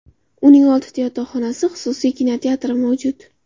Uning oltita yotoqxonasi, xususiy kinoteatri mavjud.